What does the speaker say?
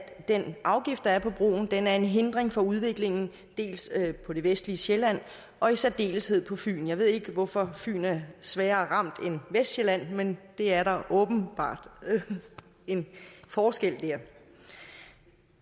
den afgift der er på broen er en hindring for udviklingen på det vestlige sjælland og i særdeleshed på fyn jeg ved ikke hvorfor fyn er sværere ramt end vestsjælland men er åbenbart en forskel dér